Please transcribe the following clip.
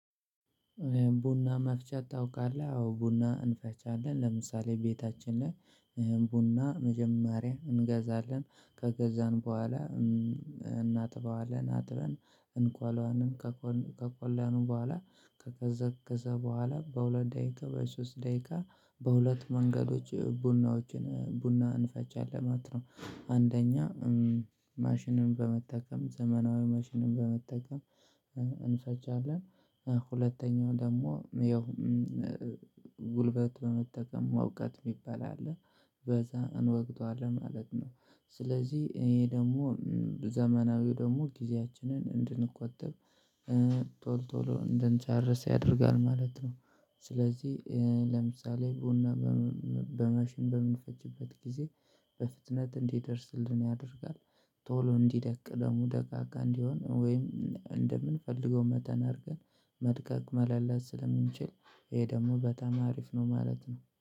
ቡና መፍጨት ታውቃለህ? አዎ ቡና እፈጫለን ለምሳሌ ቤታችን ላይ ቡና መጀመሪያ እንገዛለን ከገዛን በኋላ እናጥበዋለን አጥበን እቆለዋለን ከቆላን በኋላ ከቀዘቀዝ በኋላ በሁለት ደቂቃ በሶስት ደቂቃ በሁለት መንገዶች ቡናዎችን ቡናን እንፈጫለን አለማት ነው። አንደኛ ማሽንን በመጠቀም ዘመናዊ ማሽንን በመጠቀም እንፈጫለን። ሁለተኛው ደግሞ ይኸው ጉልበት በመጠቀም መውቀጥ የሚባል አለ በዛ እንወቅጠዋለን ማለት ነው። ስለዚህ ይሄ ደግሞ ዘመናዊው ደግሞ ጊዜያችንን እንድንቆጥብ ቶሎ ቶሎ እንድንጨርስ ያደርጋል ማለት ነው። ስለዚህ ለምሳሌ ቡና በማሽን በምንፈጭበት ጊዜ በፍጥነት እንዲደርስልን ያደርጋል። ቶሎ እንዲደቅ ደግሞ ደቃቃ እንዲሆን ወይም እንደምንፈልገው መጠን አድርገን መድቀቅ መላላት ስለምንችል ይሄ ደግሞ በጣም አሪፍ ነው ማለት ነው